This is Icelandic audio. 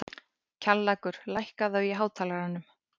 Kjallakur, lækkaðu í hátalaranum.